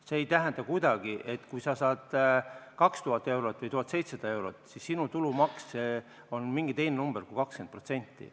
See ei tähenda kuidagi, et kui sa saad 2000 eurot või 1700 eurot, siis sinu tulumaks on mingi teine number kui 20%.